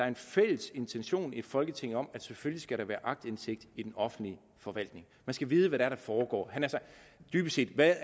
en fælles intention i folketinget om der selvfølgelig skal være aktindsigt i den offentlige forvaltning man skal vide hvad der foregår dybest set hvad